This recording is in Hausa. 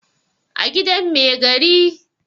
a gidan Mai gari